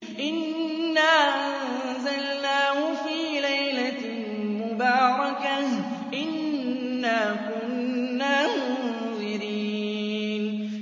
إِنَّا أَنزَلْنَاهُ فِي لَيْلَةٍ مُّبَارَكَةٍ ۚ إِنَّا كُنَّا مُنذِرِينَ